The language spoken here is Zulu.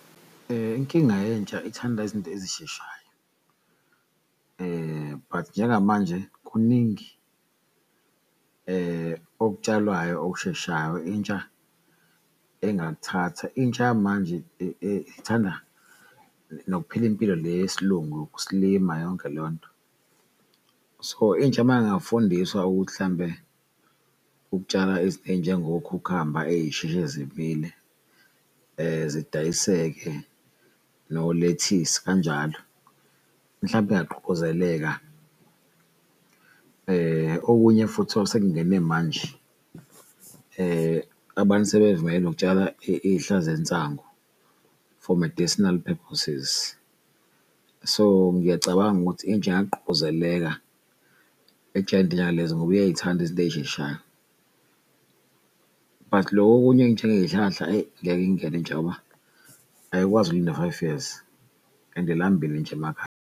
Inkinga yentsha ithanda izinto ezisheshayo but njengamanje kuningi okutshalwayo okusheshayo intsha engakuthatha. Intsha yamanje ithanda nokuphila impilo le yesilungu, ukusilima yonke leyonto. So, intsha mayingafundiswa ukuthi hlambe ukutshala izinto ezinjengo khukhamba eyisheshe zimile zidayiseke nolethisi kanjalo, mhlampe ingagqugquzeleka. Okunye futhi osekungene manje abantu sebevumelekile nokutshala iyihlahla zensango for medicinal purposes, so ngiyacabanga ukuthi intsha ingagqugquzeleka lezo ngoba iyay'thanda izinto ey'sheshayo. But loku okunye enjengey'hlahla eyi ngeke ingene intsha ngoba ayikwazi ukulinda five years and ilambile intsha .